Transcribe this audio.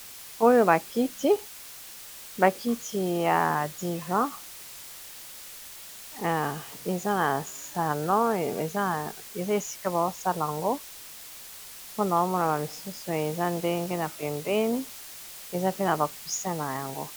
oyo bakiti ya divin eza na salon eza esika baosala ango mpona omonama misusu eza ndenge na pembeni eza pe na bakuse na yango